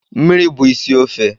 Mmiri bụ isi ofe